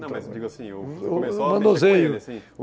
Não, mas eu digo assim, o manuseio, assim